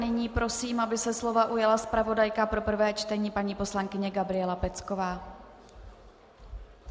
Nyní prosím, aby se slova ujala zpravodajka pro prvé čtení paní poslankyně Gabriela Pecková.